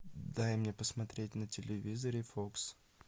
дай мне посмотреть на телевизоре фокс